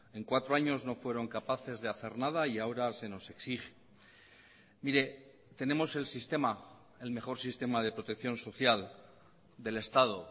en cuatro años no fueron capaces de hacer nada y ahora se nos exige mire tenemos el sistema el mejor sistema de protección social del estado